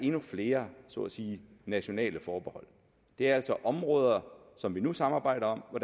endnu flere så at sige nationale forbehold det er altså områder som vi nu samarbejder om og